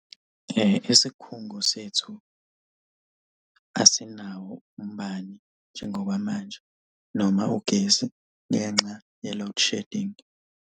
Isikhungo sethu asinawo umbani njengoba manje noma ugesi ngenxa ye-load shedding.